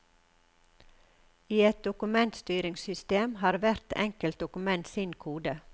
I et dokumentstyringssystem har hvert enkelt dokument sin kode.